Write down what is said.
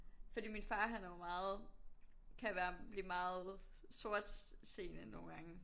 Fordi min far han er jo meget kan være blive meget sortseende nogen gange